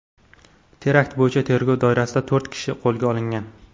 Terakt bo‘yicha tergov doirasida to‘rt kishi qo‘lga olingan.